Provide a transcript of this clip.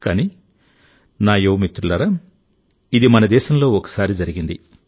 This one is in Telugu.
కానీ నా యువ మిత్రులారా ఇది మన దేశంలో ఒకసారి జరిగింది